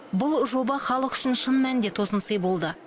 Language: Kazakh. бұл жоба халық үшін шын мәнінде тосынсый болды